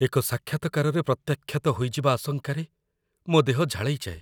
ଏକ ସାକ୍ଷାତକାରରେ ପ୍ରତ୍ୟାଖ୍ୟାତ ହୋଇଯିବା ଆଶଙ୍କାରେ ମୋ ଦେହ ଝାଳେଇଯାଏ।